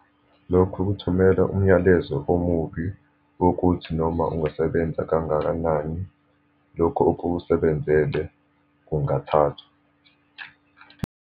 Lokhu kuthumela umyalezo omubi wokuthi noma ungasebenza kangakanani, lokhu okusebenzele kungathathwa.